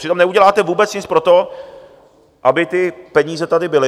Přitom neuděláte vůbec nic pro to, aby ty peníze tady byly.